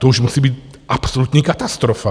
To už musí být absolutní katastrofa.